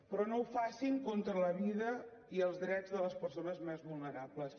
però no ho facin contra la vida i els drets de les persones més vulnerables